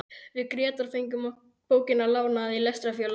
Við Grétar fengum bókina lánaða í Lestrarfélaginu.